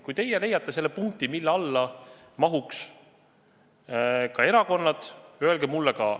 Kui teie leiate selle punkti, mille alla mahuks ka erakonnad, öelge mulle ka.